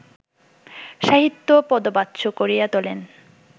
সাহিত্য পদবাচ্য করিয়া তোলেন